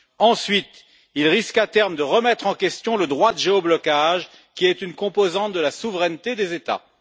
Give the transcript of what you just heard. Ensuite, il risque à terme de remettre en question le droit de géo blocage qui est une composante de la souveraineté des États.